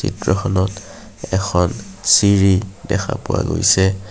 চিত্ৰখনত এখন চিৰি দেখা পোৱা গৈছে।